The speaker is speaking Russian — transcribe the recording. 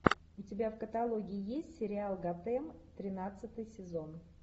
у тебя в каталоге есть сериал готэм тринадцатый сезон